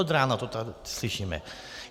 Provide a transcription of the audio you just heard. Od rána to tady slyšíme.